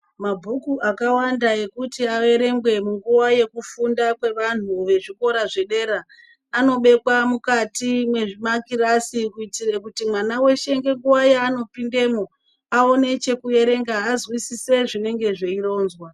Mabhuku akawanda ekuti averengwe munguwa yekufunda kwevantu vezvikora zvedera, anobekwa mukati memakirasi, kuyitira kuti mwana weshe ngenguwa yaanopindemo, awone chekuerenga, azwisise zvinenge zveyironzwa.